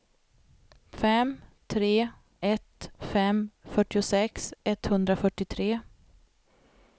fem tre ett fem fyrtiosex etthundrafyrtiotre